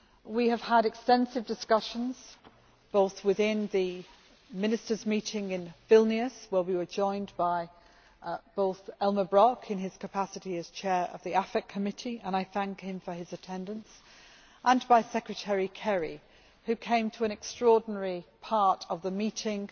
We have had extensive discussions, both within the Ministers' meeting in Vilnius where we were joined by both Elmar Brok in his capacity as Chair of the Committee on Foreign Affairs and I thank him for his attendance and by Secretary Kerry, who came to an extraordinary part of the meeting